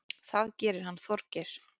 Það gerir hann Þorgeir.